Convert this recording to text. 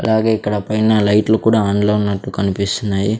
అలాగే ఇక్కడ పైన లైట్లు కూడా ఆన్లో ఉన్నట్టు కనిపిస్తున్నాయి.